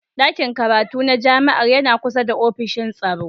Ɗakin karatu na jami'ar yana kusa da ofishin tsaro.